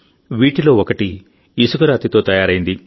వీటిలో ఒకటి ఇసుకరాతితో తయారైంది